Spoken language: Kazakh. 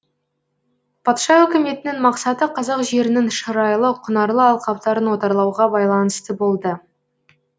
патша өкіметінің мақсаты қазақ жерінің шырайлы құнарлы алқаптарын отарлауға байланысты болды